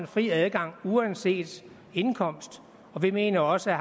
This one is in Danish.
fri adgang uanset indkomst og vi mener også at